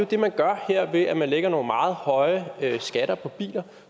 det man gør her ved at man lægger nogle meget høje skatter på biler